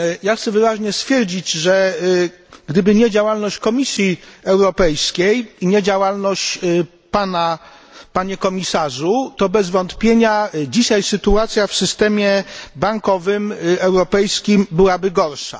Chcę wyraźnie stwierdzić, że gdyby nie działalność Komisji Europejskiej i nie działalność Pana, Panie Komisarzu, to bez wątpienia dzisiaj sytuacja w systemie bankowym europejskim byłaby gorsza.